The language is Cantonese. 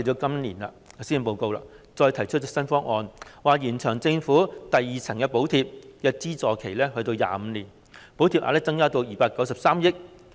今年的施政報告再提出一些新方案，延長政府的第二層補貼的資助期至25年，補貼額增加至293億元。